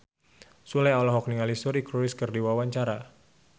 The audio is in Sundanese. Sule olohok ningali Suri Cruise keur diwawancara